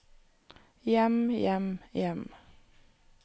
hjem hjem hjem